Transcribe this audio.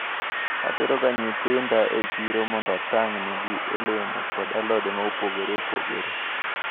Ateroga nyithinda e chiro mondo atang`negi olemo kod alode maopogore opogore.